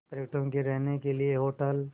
पर्यटकों के रहने के लिए होटल